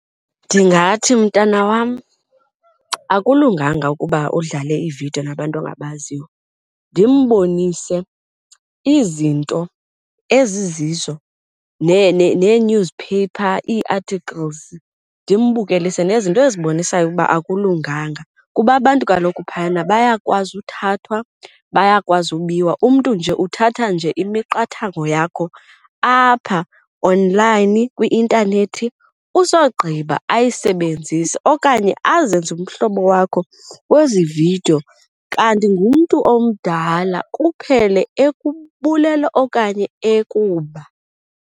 Ndingathi mntana wam, akulunganga ukuba udlale iividiyo nabantu angabaziyo. Ndimbonise izinto ezizizo nee-newspaper ii-articles ndimbukelise nezinto ezibonisayo ukuba akulunganga kuba abantu kaloku phayana bayakwazi uthathwa, bayakwazi ubiwa. Umntu nje uthatha nje imiqathango yakho apha online kwi-intanethi usogqiba ayisebenzise okanye azenze umhlobo wakho kwezi vidiyo kanti ngumntu omdala, kuphele ekubulala okanye ekuba.